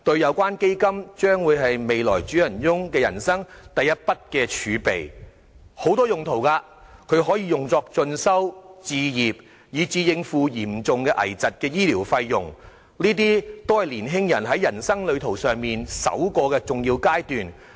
有關基金將會是未來主人翁人生的第一筆儲備，基金的用途廣泛，包括進修、置業，以至應付嚴重危疾的醫療費用，這些都是年青人在人生旅途上首個重要階段。